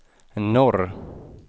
norr